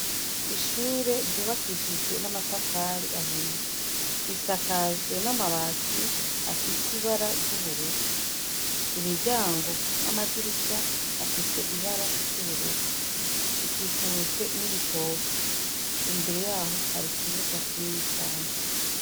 Ishure ryubakishijwe n' amatafari ahiye. Risakajwe n' amabati afise ibara ry' ubururu. Imiryango n' amadirisha afise ibara ry' ubururu. Ikikujwe n' ibitoki. Imbere yayo hari ikibuga kinini cane .